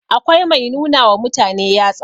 akwai Mai nuna wa mutane yatsa